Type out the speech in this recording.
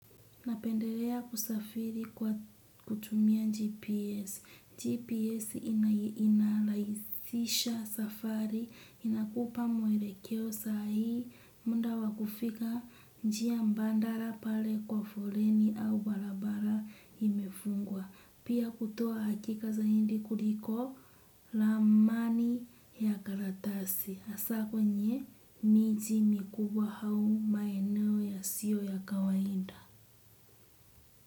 Napendelea kusafiri kwa kutumia GPS, GPS inrahisisha safari, inakupa mwelekeo saa hii, muda wa kufika njia mbandala pale kwa foleni au barabara imefungwa. Pia kutoa hakika zaidi kuliko ramani ya karatasi, hasa kwenye miji mikubwa au maeneo yasiyo ya kawaida.